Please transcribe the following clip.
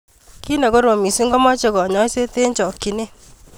Ki nekorom missing komoche kanyoiset eng chokyinet.